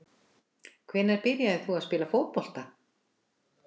Hvenær byrjaðir þú að spila fótbolta?